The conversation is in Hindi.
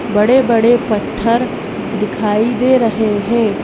बड़े-बड़े पत्थर दिखाई दे रहे हैं।